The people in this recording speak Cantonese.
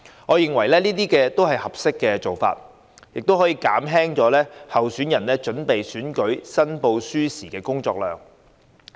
我認為這些都是合適的做法，可以減輕候選人準備選舉申報書時的工作量。